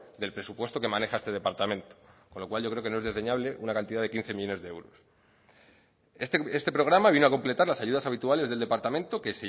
del presupuesto que maneja este departamento con lo cual yo creo que no es desdeñable una cantidad de quince millónes de euros este programa viene a completar las ayudas habituales del departamento que